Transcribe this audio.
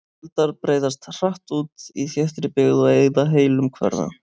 Eldar breiðast hratt út í þéttri byggð og eyða heilum hverfum.